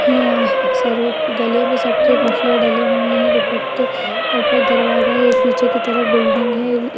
ये यहाँ गले मे सबके मफ़लर डले हुए है दुपट्टे ऊपर दरवाजा या पीछे की तरफ बिल्डिंग है।